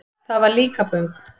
Það var Líkaböng.